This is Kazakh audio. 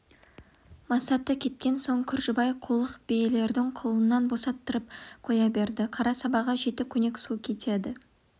масаты кеткен соң күржібай қулық биелердің құлынын босаттырып қоя берді қара сабаға жеті көнек су кетеді